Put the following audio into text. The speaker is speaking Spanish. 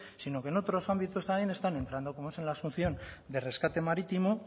sino que en otros ámbitos también están entrando como es en la asunción de rescate marítimo